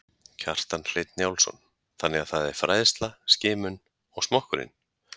Kjartan Hreinn Njálsson: Þannig að það er fræðsla, skimun og smokkurinn?